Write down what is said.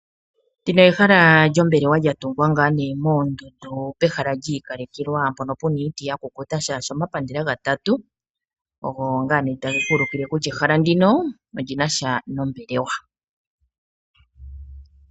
Ndino ehala lyombelewa lya tungwa ngaa nee moondundu pehala lyiikalekelwa mpono puna iiti yakukuta molwaashoka omapandela gatatu ogo ngaa nee tageku ulukile kutya ehala ndino olina sha nombelewa.